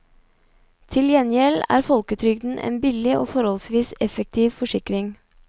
Til gjengjeld er folketrygden en billig og forholdsvis effektiv forsikring.